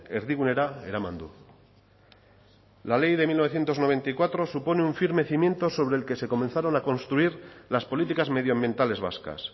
erdigunera eraman du la ley de mil novecientos noventa y cuatro supone un firme cimiento sobre el que se comenzaron a construir las políticas medioambientales vascas